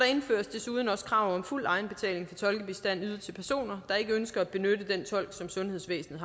indføres desuden også krav om fuld egenbetaling for tolkebistand ydet til personer der ikke ønsker at benytte den tolk som sundhedsvæsenet